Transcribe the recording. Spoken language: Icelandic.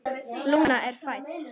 Lúna er fædd.